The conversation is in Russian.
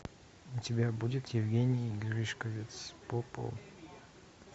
у тебя будет евгений гришковец по по